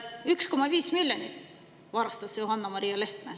1,5 miljonit varastas Johanna-Maria Lehtme.